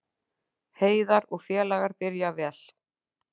Heiðar og félagar byrja vel